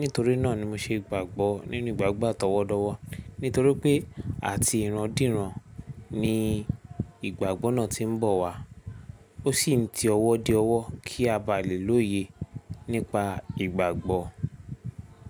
Nítorí náà ni mo ṣe gbàgbọ́ nínú ìgbàgbọ́ àtọwọ́dọ̀wọ̀. Nítorí pé à ti ìran dírán ni ìgbàgbọ́ náà tí ń bọ̀ wá. Ó sì ń ti ọwọ́ dé ọwọ́ kí a bá lè lóye nípa ìgbàgbọ́.